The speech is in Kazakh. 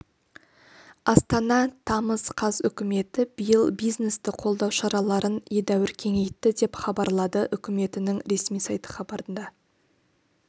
астана тамыз қаз үкіметі биыл бизнесті қолдау шараларын едәуір кеңейтті деп хбарлады үкіметінің ресми сайты хабарда